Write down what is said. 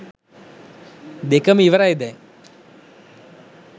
දෙකම ඉවරයි දැන්